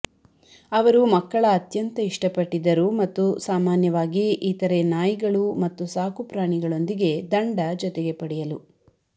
ಅವರು ಮಕ್ಕಳ ಅತ್ಯಂತ ಇಷ್ಟಪಟ್ಟಿದ್ದರು ಮತ್ತು ಸಾಮಾನ್ಯವಾಗಿ ಇತರೆ ನಾಯಿಗಳು ಮತ್ತು ಸಾಕುಪ್ರಾಣಿಗಳೊಂದಿಗೆ ದಂಡ ಜೊತೆಗೆ ಪಡೆಯಲು